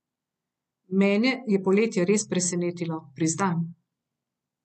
Mene je poletje res presenetilo, priznam.